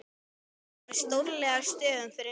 skrifað með stórkarlalegum stöfum fyrir neðan.